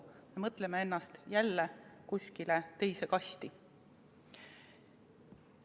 Me mõtleme ennast jälle kuskile teise kasti.